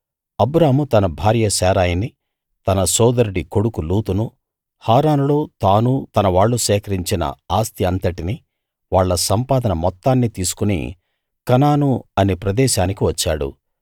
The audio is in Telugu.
అబ్రాము తన భార్య శారయిని తన సోదరుడి కొడుకు లోతును హారానులో తాను తనవాళ్ళు సేకరించిన ఆస్తి అంతటినీ వాళ్ళ సంపాదన మొత్తాన్నీ తీసుకుని కనాను అనే ప్రదేశానికి వచ్చాడు